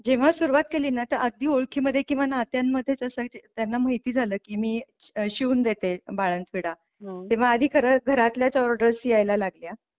जेव्हा सुरुवात केली ना तर अगदी ओळखीमध्ये किंवा नात्यांमध्ये जस त्यांना माहिती झालं की मी शिवून देते बाळंतविडा तेव्हा आधी घरातल्याच ऑर्डर्स यायला लागल्या.